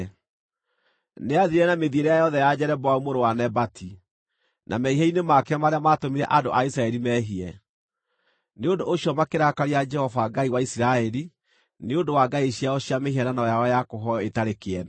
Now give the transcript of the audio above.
Nĩathiire na mĩthiĩre yothe ya Jeroboamu mũrũ wa Nebati, na mehia-inĩ make marĩa maatũmire andũ a Isiraeli meehie; nĩ ũndũ ũcio makĩrakaria Jehova Ngai wa Isiraeli nĩ ũndũ wa ngai ciao cia mĩhianano yao ya kũhooywo ĩtarĩ kĩene.